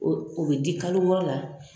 O o bɛ di kalo wɔɔrɔ la